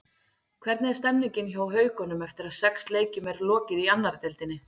Hvernig er stemmingin hjá Haukunum eftir að sex leikjum er lokið í annarri deildinni?